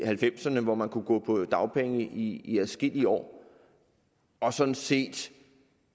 halvfemserne hvor man kunne gå på dagpenge i i adskillige år og sådan set